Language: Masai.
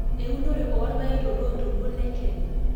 eunore oorpaek toloontoluo Le Kenya